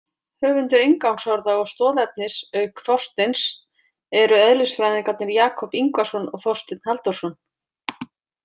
Höfundar inngangsorða og stoðefnis auk Þorsteins eru eðlisfræðingarnir Jakob Yngvason og Þorsteinn Halldórsson.